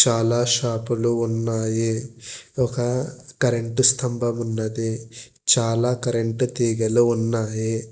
చాలా షాపులు ఉన్నాయి ఒక కరెంట్ స్తంభం ఉన్నది చాలా కరెంట్ తీగలు ఉన్నవి.